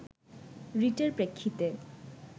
রিটের প্রেক্ষিতে